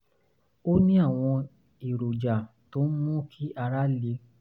ó ní àwọn èròjà tó ń ń mú kí ara le